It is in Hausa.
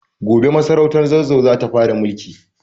Gobe masarautar Zazzau za ta fara mulki.